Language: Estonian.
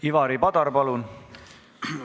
Ivari Padar, palun!